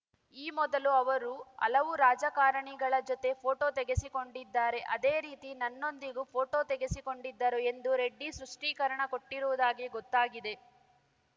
ಈ ಮೊದಲು ಅವರು ಹಲವು ರಾಜಕಾರಣಿಗಳ ಜೊತೆ ಫೋಟೋ ತೆಗೆಸಿಕೊಂಡಿದ್ದಾರೆ ಅದೇ ರೀತಿ ನನ್ನೊಂದಿಗೂ ಫೋಟೋ ತೆಗೆಸಿಕೊಂಡಿದ್ದರು ಎಂದು ರೆಡ್ಡಿ ಸೃಷ್ಟೀಕರಣ ಕೊಟ್ಟಿರುವುದಾಗಿ ಗೊತ್ತಾಗಿದೆ